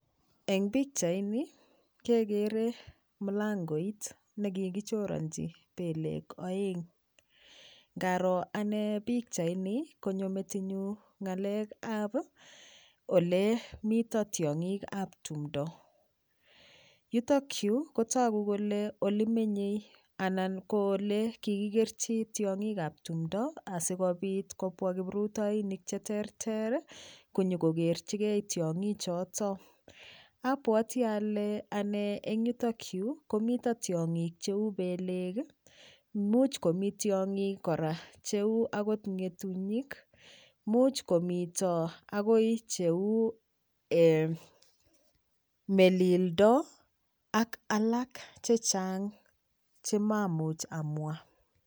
Eng pikchaini kekere mlangoit nekikichoranji pelek oeng' ngaro ane pikchaini konyo metinyu ngalekab ole mito tiong'ikab tumdo yutokyu kotoku kole ole menyei anan olekikikerchi tiong'ikab tumdo asikopit kobwa kiprutoinik cheterter konyikokerchigei tiong'ichoto abwoti ale ane ale eng yutokyu komi tiong'ik cheu pelek much komi tiong'ik kora cheu akot ng'etunyik much komito akoi cheu melildo ak alak chechang chemamuch amwa